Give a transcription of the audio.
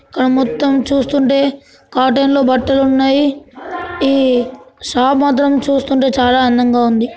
ఇక్కడ అన్ని చూస్తుంటే కాటన్ లో బట్టలు ఉన్నాయి ఈ షాప్ మాత్రం చూస్తుంటే చాలా అందగా ఉంది